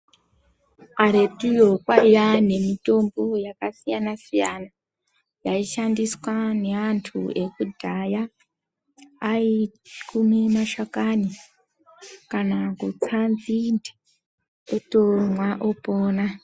Karetuyo kwaiya nemitombo yakasiyana siyana yaishandiswa neantu ekudhaya aikume mashakani kana kutsa nzinde otomwa opona.